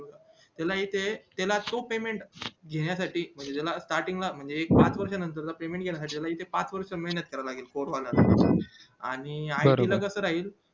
त्याला इथे त्याला खूप payment घेण्या साठी म्हणजे sarting ला एक लाख च payment त्याला पाच वर्ष मेहनत करावी लागेल score मध्ये आणि it च कास राहील